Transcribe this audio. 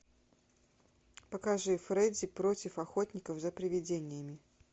покажи фредди против охотников за привидениями